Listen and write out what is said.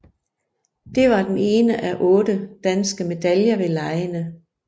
Det var den ene af otte danske medaljer ved legene